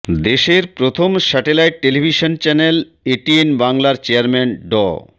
দেশের প্রথম satellite television channel ATN বাংলার চেয়ারম্যান ড